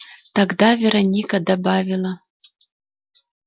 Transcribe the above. тогда вероника добавила